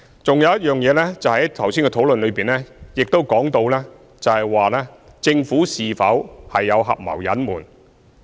還有一件事情，就是剛才的討論亦提及政府是否有合謀隱瞞。